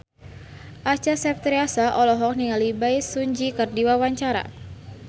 Acha Septriasa olohok ningali Bae Su Ji keur diwawancara